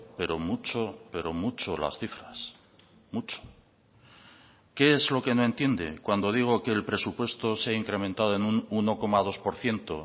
pero mucho pero mucho las cifras mucho qué es lo que no entiende cuando digo que el presupuesto se ha incrementado en un uno coma dos por ciento